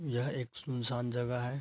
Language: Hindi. यह एक सुनसान जगह है।